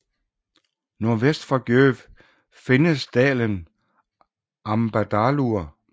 Nordvest for Gjógv findes dalen Ambadalur